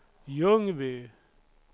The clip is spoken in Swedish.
Ljungby